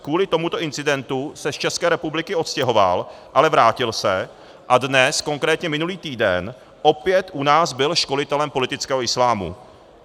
Kvůli tomuto incidentu se z České republiky odstěhoval, ale vrátil se a dnes, konkrétně minulý týden, opět u nás byl školitelem politického islámu.